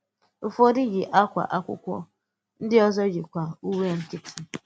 Ụ́fọdụ̀ yì̀ àkwà ákwụ́kwọ́; ndị òzò yì̀kwā ùwè nkịtị̄.